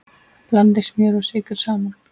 Blandið smjöri og sykri saman.